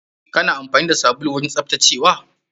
Kana amfani da sabulu wajen tsaftacewa?